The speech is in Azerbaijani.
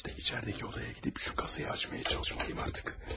İşte içəridəki odaya gedib şu kasayı açmaya çalışmalıyım artıq.